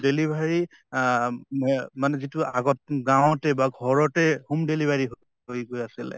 delivery আহ ম্য়ে মানে যিটো আগত গাঁৱতে বা ঘৰতে home delivery হৈ গৈ আছিলে